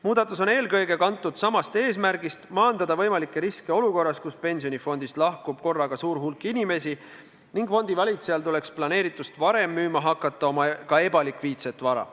Muudatus on eelkõige kantud samast eesmärgist maandada võimalikke riske olukorras, kus pensionifondist lahkub korraga suur hulk inimesi ning fondivalitsejal tuleks planeeritust varem müüma hakata oma ka ebalikviidset vara.